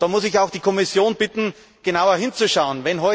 Da muss ich auch die Kommission bitten, genauer hinzuschauen.